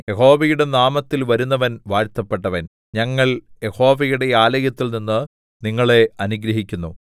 യഹോവയുടെ നാമത്തിൽ വരുന്നവൻ വാഴ്ത്തപ്പെട്ടവൻ ഞങ്ങൾ യഹോവയുടെ ആലയത്തിൽനിന്ന് നിങ്ങളെ അനുഗ്രഹിക്കുന്നു